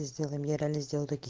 сделай мне реально сделают таки